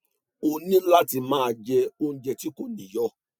o ní láti máa je oúnjẹ ti ko ni iyo